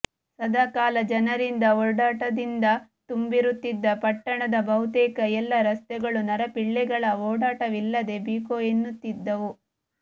ಸದಾ ಕಾಲ ಜನರಿಂದ ಒಡಾಟದಿಂದ ತುಂಬಿರುತ್ತಿದ್ದ ಪಟ್ಟಣದ ಬಹುತೇಕ ಎಲ್ಲ ರಸ್ತೆಗಳು ನರಪಿಳ್ಳೆಗಳ ಒಡಾಟವಿಲ್ಲದೆ ಬಿಕೋ ಎನ್ನುತ್ತಿದ್ದವು